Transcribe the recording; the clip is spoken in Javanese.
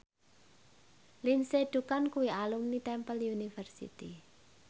Lindsay Ducan kuwi alumni Temple University